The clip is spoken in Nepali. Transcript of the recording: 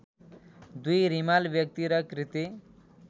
२ रिमाल व्यक्ति र कृति